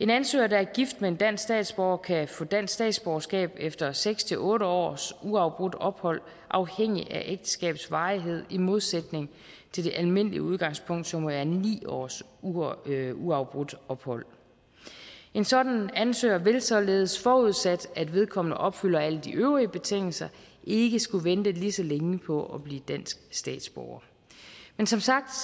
en ansøger der er gift med en dansk statsborger kan få dansk statsborgerskab efter seks otte års uafbrudt ophold afhængig af ægteskabets varighed i modsætning til det almindelige udgangspunkt som er ni års uafbrudt ophold en sådan ansøger vil således forudsat at vedkommende opfylder alle de øvrige betingelser ikke skulle vente lige så længe på at blive dansk statsborger men som sagt